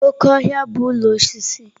Oke ohia bu ulo osisi.